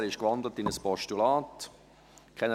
Er ist in ein Postulat gewandelt: